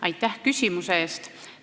Aitäh küsimuse eest!